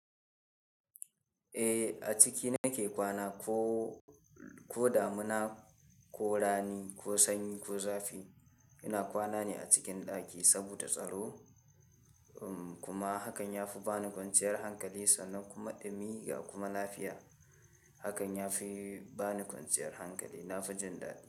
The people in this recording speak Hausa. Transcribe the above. Eh a ciki nake kwana ko, ko damuna ko rani ko sanyi ko zafi. Ina kwana ne a cikin ɗaki saboda tsaro, um kuma hakan ya fi ba ni kwanciyar hankali sannan kuma ɗumi ga kuma lafiya. Hakan ya fi ba ni kwanciyar hankali. Na fi jin daɗi.